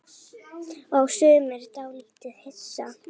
Og sumir dálítið hissa?